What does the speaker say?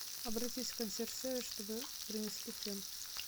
обратись в консьерж сервис чтобы принесли фен